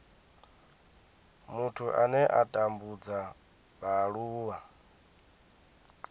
muthu ane a tambudza vhaaluwa